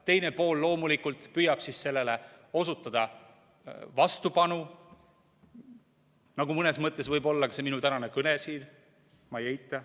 Teine pool loomulikult püüab siis sellele osutada vastupanu, nagu mõnes mõttes võib-olla ka see minu tänane kõne siin, ma ei eita.